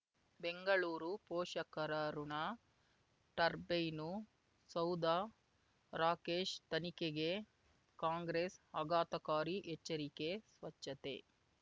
ಬೆಂಗಳೂರು ಪೋಷಕರಋಣ ಟರ್ಬೈನು ಸೌಧ ರಾಕೇಶ್ ತನಿಖೆಗೆ ಕಾಂಗ್ರೆಸ್ ಆಘಾತಕಾರಿ ಎಚ್ಚರಿಕೆ ಸ್ವಚ್ಛತೆ